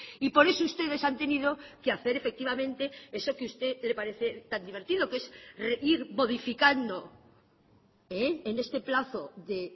y por eso ustedes han tenido que hacer efectivamente eso que usted le parece tan divertido que es ir modificando en este plazo de